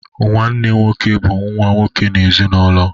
Nwanne nwoke bụ nwa nwoke n’ezinụlọ.